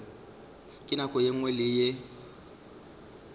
nako ye nngwe le ye